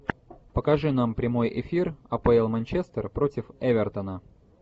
покажи нам прямой эфир апл манчестер против эвертона